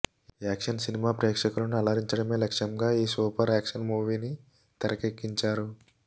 action cinema ప్రేక్షకులను అలరించడమే లక్ష్యంగా ఈ సూపర్ యాక్షన్ మూవీని తెరకెక్కించారు